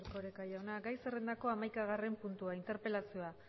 erkoreka jauna gai zerrendako hamaikagarren puntua interpelazioa